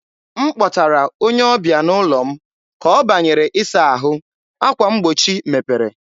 m kpọtara onye ọbịa n'ụlọ m, ka ọ banyere ịsa ahụ, akwa mgbochi mepere.